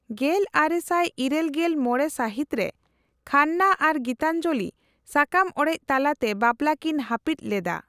ᱜᱮᱞᱟᱨᱮᱥᱟᱭ ᱤᱨᱟᱹᱞᱜᱮᱞ ᱢᱚᱲᱮ ᱥᱟᱹᱦᱤᱛ ᱨᱮ ᱠᱷᱟᱱᱱᱟ ᱟᱨ ᱜᱤᱛᱟᱧᱡᱚᱞᱤ ᱥᱟᱠᱟᱢ ᱚᱲᱮᱡ ᱛᱟᱞᱟᱛᱮ ᱵᱟᱯᱞᱟ ᱠᱤᱱ ᱦᱟᱹᱯᱤᱫ ᱞᱮᱫᱟ ᱾